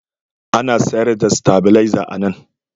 Ana sayar da sitabileza a nan.